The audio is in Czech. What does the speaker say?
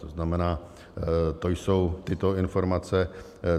To znamená, to jsou tyto informace.